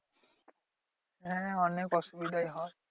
হ্যাঁ অনেক অসুবিধাই হয়।